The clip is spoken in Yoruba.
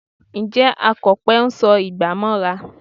Ǹjẹ́ Akọ̀pẹ ń sọ igbà mọ́ra?